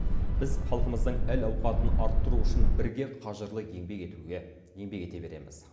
біз халқымыздың әл ауқатын арттыру үшін бірге қажырлы еңбек етуге еңбек ете береміз